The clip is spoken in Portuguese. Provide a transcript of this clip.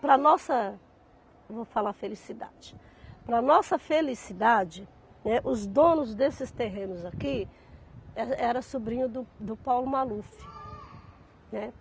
Para a nossa, eu vou falar felicidade, para nossa felicidade, né, os donos desses terrenos aqui era eram sobrinhos do do Paulo Maluf, né.